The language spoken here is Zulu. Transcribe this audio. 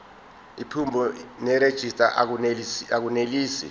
iphimbo nerejista akunelisi